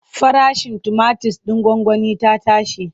Farashin tumatir ɗin gwangwani ya tashi.